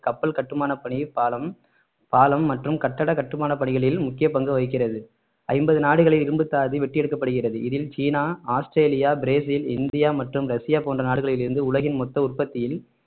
கப்பல் கட்டுமான பணி பாலம் பாலம் மற்றும் கட்டட கட்டுமான பணிகளில் முக்கிய பங்கு வகிக்கிறது ஐம்பது நாடுகளில் இரும்புத்தாது வெட்டி எடுக்கப்படுகிறது இதில் சீனா ஆஸ்திரேலியா பிரேசில் இந்தியா மற்றும் ரஷ்யா போன்ற நாடுகளிலிருந்து உலகின் மொத்த உற்பத்தியில்